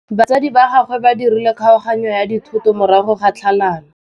Batsadi ba gagwe ba dirile kgaoganyô ya dithoto morago ga tlhalanô.